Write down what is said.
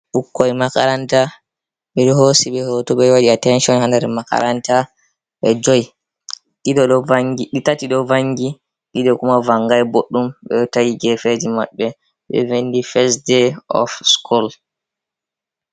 Ɓukkoi makaranta ɓe ɗo hosi be hoto ɓe waɗi attention ha ndyer makaranta ɓe 5, ɗiɗi ɗo vangi, tati ɗo vangi ,ɗiɗo kuma vangai ɓoɗɗum ,ɓe tayi gefeji maɓɓe ɓe vinɗi first ɗay of school.